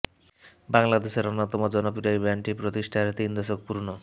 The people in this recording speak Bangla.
বাংলাদেশের অন্যতম জনপ্রিয় এই ব্যান্ডটি প্রতিষ্ঠার তিন দশক পূর্ণ